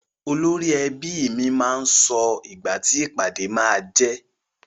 Olórí ẹbi mi máa sọ ìgbà ti ìpàdé máá jẹ́.